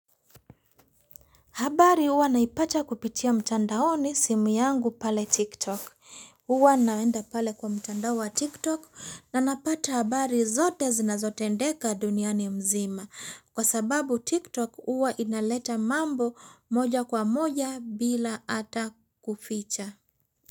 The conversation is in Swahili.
Habari uwa naipata kupitia mtandaoni simu yangu pale tiktok. Uwa naenda pale kwa mtandao wa tiktok na napata habari zote zinazote ndeka duniani mzima. Kwa sababu tiktok uwa inaleta mambo moja kwa moja bila ata kuficha.